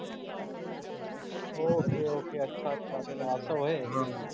okay okay अच्छा अच्छा अस व्हय